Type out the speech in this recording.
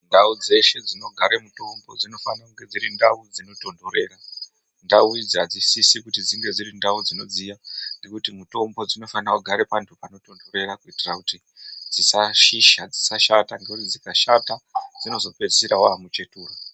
Ndau dzeshe dzinogare mutombo dzinofane kunge dzinotonhorera .Ndau idzi hadzisisi kuti dzive ndau dzinodziya, nekuti mutombo dzino fanirwa kugara pano tonhorera kuitira kuti dzisashisha dzisashata nekuti dzikashata dzinopedzisira dzava muchetura.